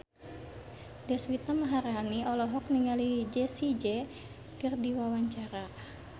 Deswita Maharani olohok ningali Jessie J keur diwawancara